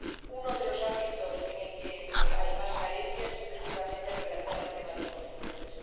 Uno de los ámbitos en el que hay más carencias es precisamente el relacionado con los consumidores.